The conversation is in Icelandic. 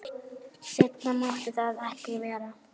Seinna mátti það ekki vera.